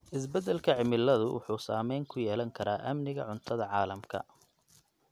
Isbedelka cimilada wuxuu saameyn ku yeelan karaa amniga cuntada caalamka.